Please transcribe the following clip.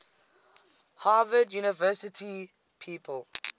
harvard university people